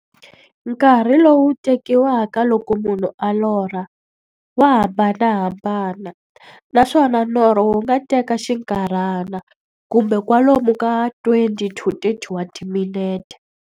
Nkarhi lowu tekiwaka loko munhu a lorha, wa hambanahambana, naswona norho wu nga teka xinkarhana, kumbe kwalomu ka 20-30 wa timinete.